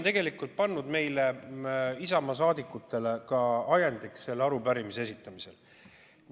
See oli meile, Isamaa liikmetele ka selle arupärimise esitamise ajendiks.